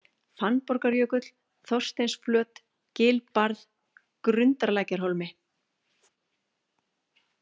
Fannborgarjökull, Þorsteinsflöt, Gilbarð, Grundarlækjarhólmi